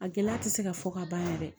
A gɛlɛya tɛ se ka fɔ ka ban dɛ